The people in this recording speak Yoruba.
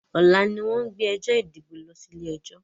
Ọlá ni wọn ń gbé ẹjọ́ ìdìbò lọ sí ilé ẹjọ́